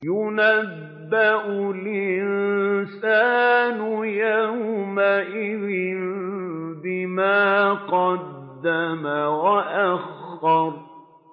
يُنَبَّأُ الْإِنسَانُ يَوْمَئِذٍ بِمَا قَدَّمَ وَأَخَّرَ